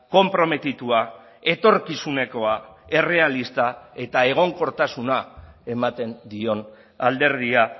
konprometitua etorkizunekoa errealista eta egonkortasuna ematen dion alderdia